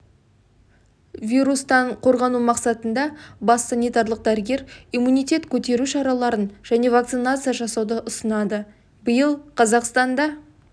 вирустан қорғану мақсатында бас санитарлық дәрігер иммунитет көтеру шараларын және вакцинация жасауды ұсынады биыл қазақстанда